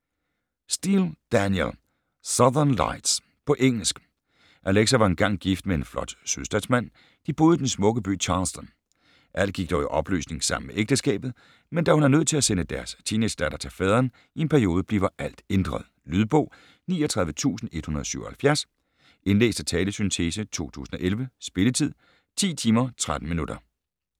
Steel, Danielle: Southern lights På engelsk. Alexa var engang gift med en flot sydstatsmand, de boede i den smukke by Charleston. Alt gik dog i opløsning sammen med ægteskabet, men da hun er nødt til at sende deres teenagedatter til faderen i en periode bliver alt ændret. Lydbog 39177 Indlæst af talesyntese, 2011. Spilletid: 10 timer, 13 minutter.